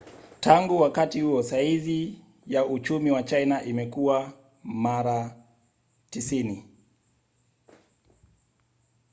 tangu wakati huo saizi ya uchumi wa china imekua mara 90